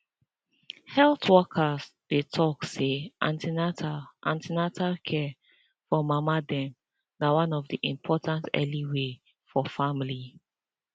health workers dey talk say an ten atal an ten atal care for mama dem na one of the important early way for families